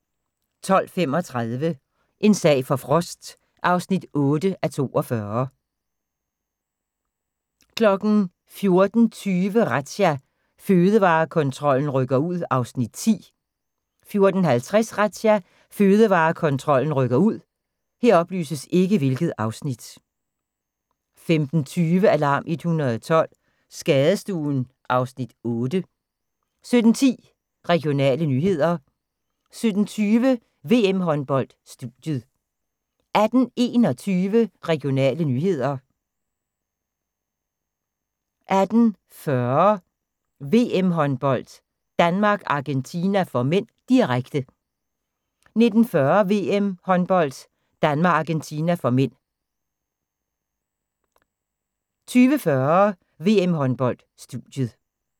12:35: En sag for Frost (8:42) 14:20: Razzia – Fødevarekontrollen rykker ud (Afs. 10) 14:50: Razzia – Fødevarekontrollen rykker ud 15:20: Alarm 112 – Skadestuen (Afs. 8) 17:10: Regionale nyheder 17:20: VM-håndbold: Studiet 18:21: Regionale nyheder 18:40: VM-håndbold: Danmark-Argentina (m), direkte 19:40: VM-håndbold: Danmark-Argentina (m) 20:40: VM-håndbold: Studiet